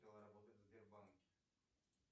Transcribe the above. работать в сбербанке